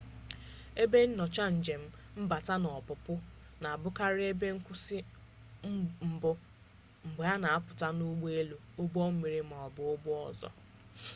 ebe nnyocha njem mbata na ọpụpụ na-abụkarị ebe nkwụsị mbụ mgbe a na-apụta n'ụgbọelu ụgbọmmiri maọbụ n'ụgbọ ọzọ